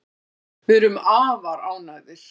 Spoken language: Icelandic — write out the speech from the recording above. Við erum afar ánægðir